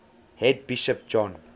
head bishop john